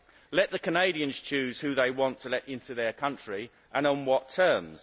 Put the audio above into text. Let the Canadians choose who they want to let into their country, and on what terms.